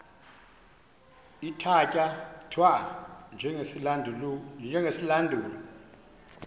ithatya thwa njengesilandulo